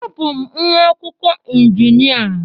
Abụ m nwa akwụkwọ injinia